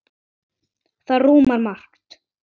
Það rúmar margt.